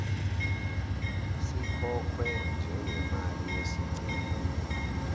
sikhokhwe njengemali yesicelo